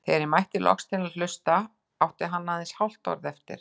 Þegar ég mætti loks til að hlusta átti hann aðeins hálft orð eftir.